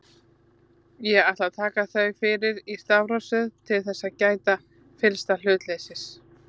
Ég ætla að taka þau fyrir í stafrófsröð til þess að gæta fyllsta hlutleysis.